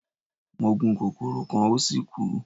Mo gun kokoro kan o si kú